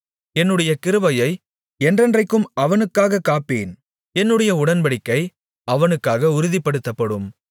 என்னுடைய கிருபையை என்றென்றைக்கும் அவனுக்காகக் காப்பேன் என்னுடைய உடன்படிக்கை அவனுக்காக உறுதிப்படுத்தப்படும்